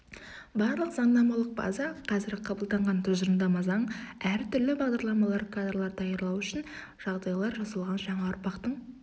барлық заңнамалық база қазір қабылданған тұжырымдама заң әртүрлі бағдарламалар кадрлар даярлау үшін жағдайлар жасалған жаңа ұрпақтың